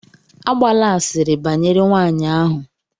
Agbala asịrị banyere nwanyị ahụ!